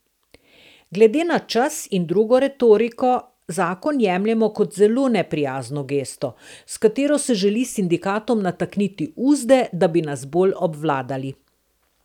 Glede na čas in drugo retoriko, zakon jemljemo kot zelo neprijazno gesto, s katero se želi sindikatom natakniti uzde, da bi nas bolj obvladali.